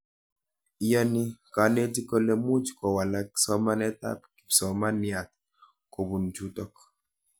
Iyani kanetik kole much kowalak somanet ab kipsomaniat kopun chutok